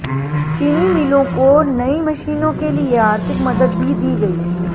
चीनी मिलों को नई मशीनों के लिए आर्थिक मदद भी दी गई